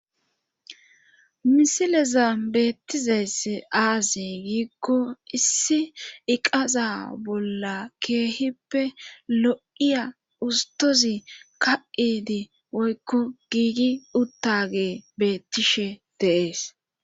misileza beettizeess aazi giikko issi iqaza bolla keehippe lo7iya ustozi ka7idi woykko giigi uttage beettishe deees